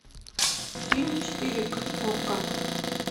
фильм четыре к окко